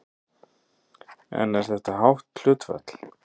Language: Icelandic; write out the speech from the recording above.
En er þetta hátt hlutfall?